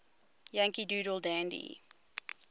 yankee doodle dandy